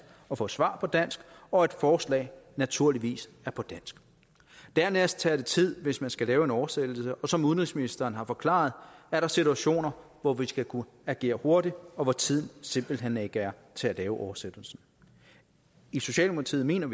og få svar på dansk og at forslag naturligvis er på dansk dernæst tager det tid hvis man skal lave en oversættelse og som udenrigsministeren har forklaret er der situationer hvor vi skal kunne agere hurtigt og hvor tiden simpelt hen ikke er til at lave oversættelsen socialdemokratiet mener